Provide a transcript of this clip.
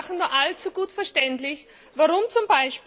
Sie machen nur allzu gut verständlich, warum z.